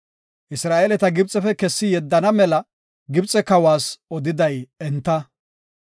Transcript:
Isra7eeleta Gibxefe kessi yeddana mela Gibxe kawas odiday enta.